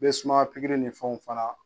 bɛ sumaya pikiri ni fɛnw fana